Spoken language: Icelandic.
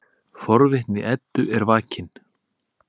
Forvitni Eddu er vakin.